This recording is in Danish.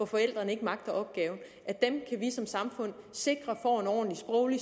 forældre ikke magter opgaven kan vi som samfund sikre får en ordentlig sproglig